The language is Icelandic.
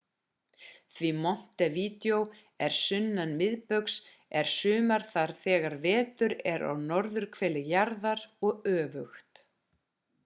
því montevideo er sunnan miðbaugs er sumar þar þegar vetur er á norðurhveli jarðar og öfugt